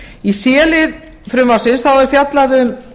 í c lið frumvarpsins er fjallað um